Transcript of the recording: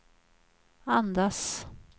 andas